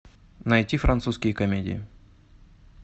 найти французские комедии